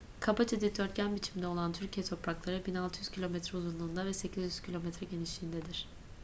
kabaca dikdörtgen biçiminde olan türkiye toprakları 1.600 kilometre uzunluğunda ve 800 kilometre genişliğindedir